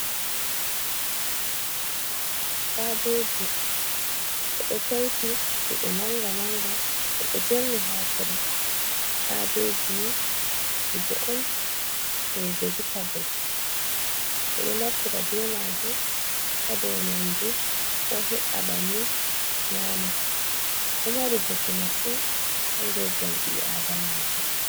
Kabeji eɗo taiti je gebe manga manga. be ɗo jerni ha tire . Kabejini kuje on in vejetabales be ɗo naftira be majum. ha ɗau nyamdu o he’a banni nyama. Ɗo mari bote masin ha ngurdam biɗo adamajo.